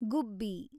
ಗುಬ್ಬಿ